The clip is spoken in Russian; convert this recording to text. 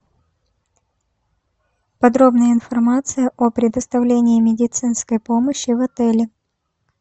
подробная информация о предоставлении медицинской помощи в отеле